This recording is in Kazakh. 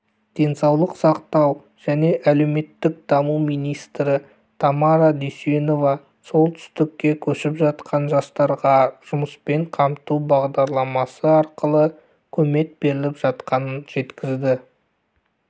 денсауық сақтау және әлеуметтік даму министрі тамара дүйсенова солтүстікке көшіп жатқан жастарға жұмыспен қамту бағдарламасы арқылы көмек беріліп жатқанын жеткізді